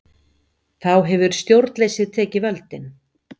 Þá hefur stjórnleysið tekið völdin.